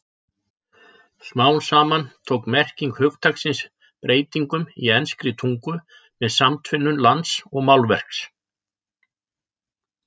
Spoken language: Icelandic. Smám saman tók merking hugtaksins breytingum í enskri tungu með samtvinnun lands og málverks.